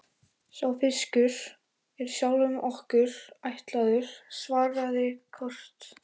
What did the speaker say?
Sá fiskur er sjálfum okkur ætlaður, svaraði Kort.